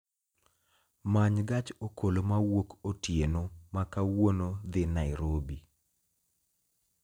Many gach okolomawuok otieno ma kawuono dhi nairobi